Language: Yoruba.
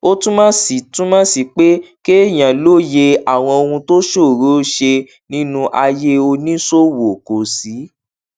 ó túmọ sí túmọ sí pé kéèyàn lóye àwọn ohun tó ṣòroó ṣe nínú ayé oníṣòwò kó sì